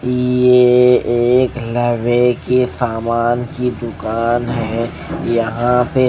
ये एक लावे की सामान की दुकान है यहां पे।